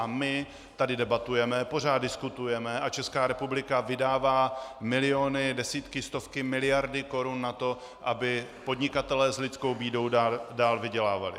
A my tady debatujeme, pořád diskutujeme a Česká republika vydává miliony, desítky, stovky miliard korun na to, aby podnikatelé s lidskou bídou dál vydělávali.